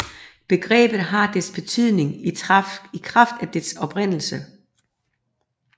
Begrebet har dets betydning i kraft af dets oprindelse